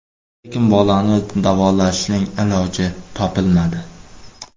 Lekin bolani davolashning iloji topilmadi.